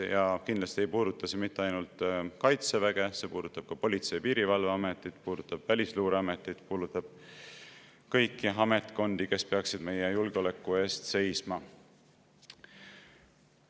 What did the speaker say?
Ja kindlasti ei puuduta see mitte ainult Kaitseväge, vaid see puudutab ka Politsei- ja Piirivalveametit, Välisluureametit ja kõiki ametkondi, kes peaksid meie julgeoleku eest seisma.